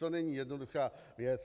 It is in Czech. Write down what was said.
To není jednoduchá věc.